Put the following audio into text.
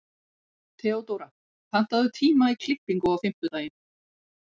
Theodóra, pantaðu tíma í klippingu á fimmtudaginn.